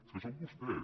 és que són vostès